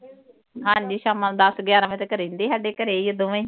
ਹਾਂ ਜੀ ਸਾਮਾਂ ਦੱਸ ਗਿਆਰਾਂ ਵਜੇ ਘਰੇ ਹੀ ਹੁੰਦੇ ਸਾਡੇ ਘਰੇ ਹੀ ਦੋਵੇਂ।